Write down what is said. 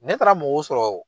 Ne taara mɔgɔw sɔrɔ